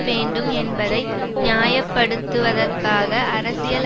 வேண்டும் என்பதை நியாயப்படுத்துவதற்காக அரசியல்